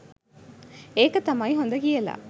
ඒක තමයි හොද කියලා